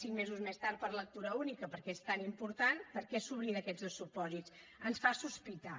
cinc mesos més tard per lectura única perquè és tan important per què s’oblida aquests dos supòsits ens fa sospitar